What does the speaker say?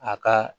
A ka